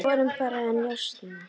Við vorum bara að njósna,